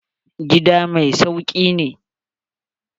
Gida masauki ne.